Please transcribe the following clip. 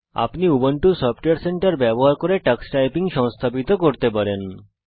আপনি Ubuntu software centre ব্যবহার করে টাক্স টাইপিং সংস্থাপিত করতে পারেন